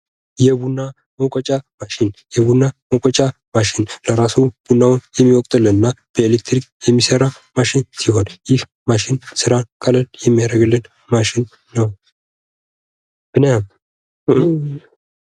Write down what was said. የቡና መውቀጫ ማሽን የቡና መውቀጫ ማሽን ለራስዎ ቡናውን የሚወቅጥልንና በኤሌክትሪክ የሚሰራ ማሽን ሲሆን ይህ ማሽን ስራ ቀለል የሚያደርግልን ማሽን ነው ።